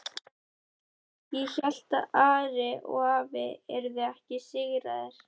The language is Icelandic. Ég hélt að Ari og afi yrðu ekki sigraðir.